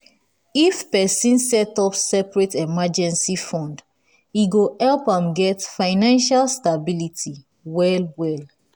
if person set up separate emergency fund e go help am get financial stability well well.